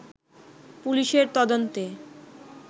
পুলিশের তদন্তে